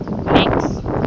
max